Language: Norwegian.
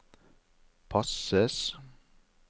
passes